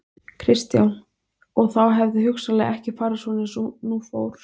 Kristján: Og þá hefði hugsanlega ekki farið svona eins og nú fór?